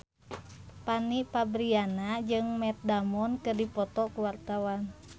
Fanny Fabriana jeung Matt Damon keur dipoto ku wartawan